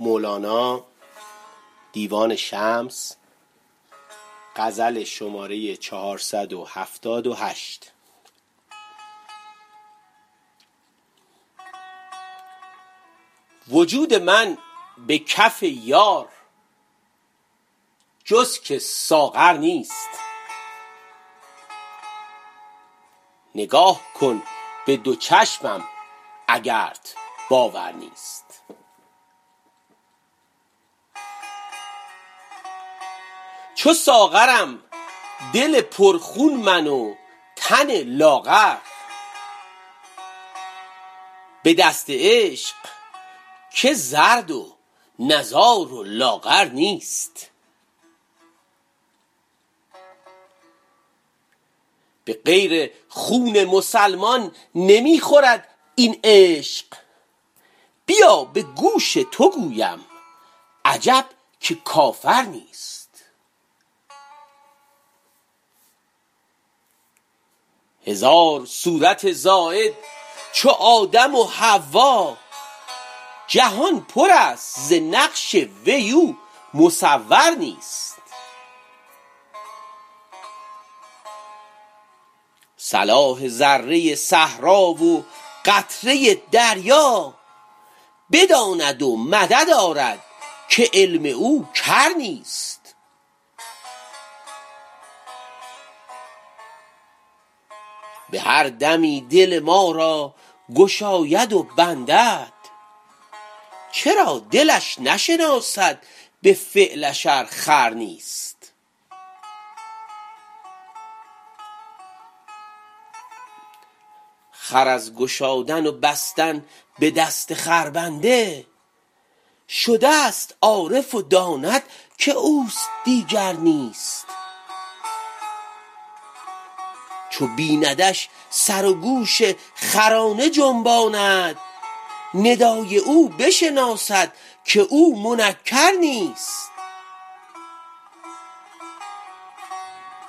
وجود من به کف یار جز که ساغر نیست نگاه کن به دو چشمم اگرت باور نیست چو ساغرم دل پرخون من و تن لاغر به دست عشق که زرد و نزار و لاغر نیست به غیر خون مسلمان نمی خورد این عشق بیا به گوش تو گویم عجب که کافر نیست هزار صورت زاید چو آدم و حوا جهان پرست ز نقش وی او مصور نیست صلاح ذره صحرا و قطره دریا بداند و مدد آرد که علم او کر نیست به هر دمی دل ما را گشاید و بندد چرا دلش نشناسد به فعلش ار خر نیست خر از گشادن و بستن به دست خربنده شدست عارف و داند که اوست دیگر نیست چو بیندش سر و گوش خرانه جنباند ندای او بشناسد که او منکر نیست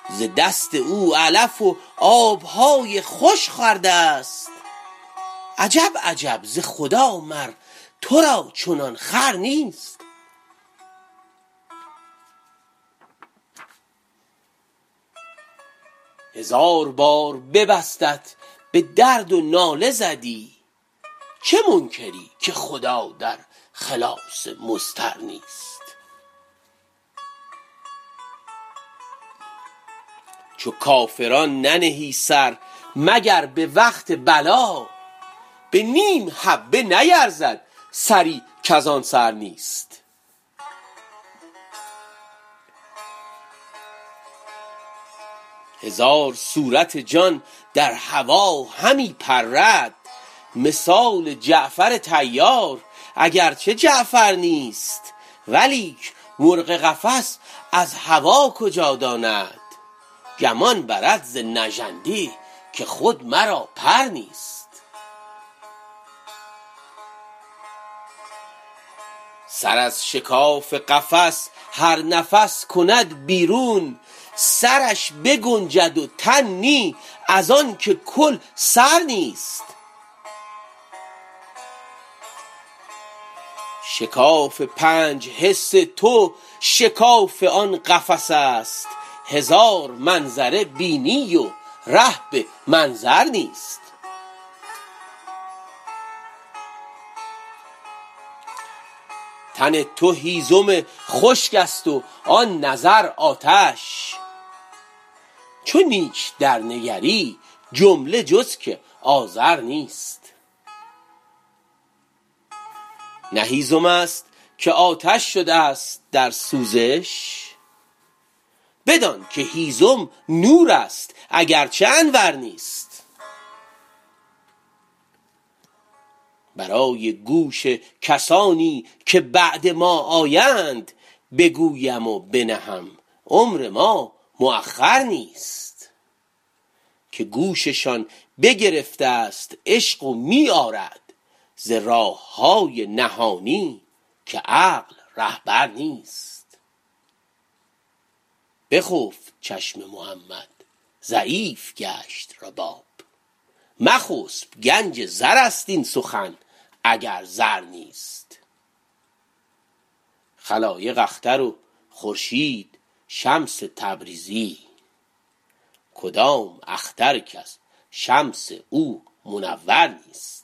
ز دست او علف و آب های خوش خوردست عجب عجب ز خدا مر تو را چنان خور نیست هزار بار ببستت به درد و ناله زدی چه منکری که خدا در خلاص مضطر نیست چو کافران ننهی سر مگر به وقت بلا به نیم حبه نیرزد سری کز آن سر نیست هزار صورت جان در هوا همی پرد مثال جعفر طیار اگر چه جعفر نیست ولیک مرغ قفس از هوا کجا داند گمان برد ز نژندی که خود مرا پر نیست سر از شکاف قفس هر نفس کند بیرون سرش بگنجد و تن نی از آنک کل سر نیست شکاف پنج حس تو شکاف آن قفس است هزار منظر بینی و ره به منظر نیست تن تو هیزم خشکست و آن نظر آتش چو نیک درنگری جمله جز که آذر نیست نه هیزمست که آتش شدست در سوزش بدانک هیزم نورست اگر چه انور نیست برای گوش کسانی که بعد ما آیند بگویم و بنهم عمر ما مأخر نیست که گوششان بگرفتست عشق و می آرد ز راه های نهانی که عقل رهبر نیست بخفت چشم محمد ضعیف گشت رباب مخسب گنج زرست این سخن اگر زر نیست خلایق اختر و خورشید شمس تبریزی کدام اختر کز شمس او منور نیست